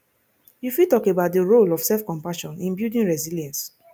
you fit talk about di role of selfcompassion in building resilience